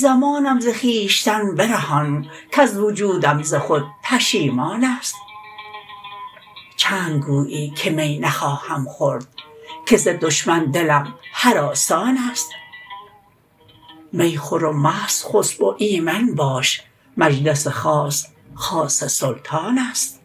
زمانم ز خویشتن برهان کز وجودم ز خود پشیمانست چند گویی که می نخواهم خورد که ز دشمن دلم هراسانست می خور و مست خسب و ایمن باش مجلس خاص خاص سلطانست